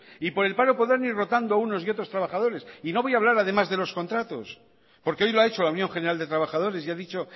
y por el paro podrán ir rotando unos y otros trabajadores y no voy a hablar además de los contratos porque hoy lo ha hecho la unión general de trabajadores y ha dicho